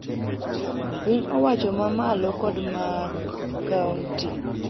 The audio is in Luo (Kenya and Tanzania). Pin owacho ma malo kod mag kaonti